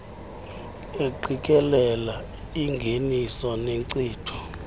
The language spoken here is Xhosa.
engqikelelo engeniso nenkcitho